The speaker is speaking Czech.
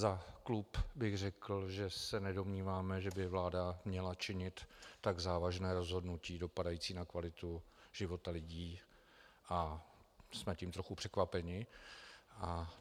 Za klub bych řekl, že se nedomníváme, že by vláda měla činit tak závažné rozhodnutí dopadající na kvalitu života lidí, a jsme tím trochu překvapeni.